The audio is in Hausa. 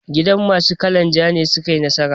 Gida masu kalan ja ne suka yi nasara.